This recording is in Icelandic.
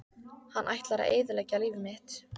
Hann ætlar að eyðileggja líf mitt!